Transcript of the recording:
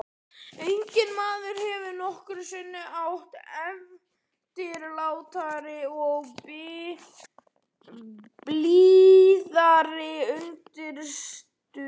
Enginn maður hefur nokkru sinni átt eftirlátari og blíðari unnustu.